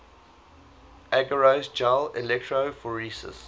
agarose gel electrophoresis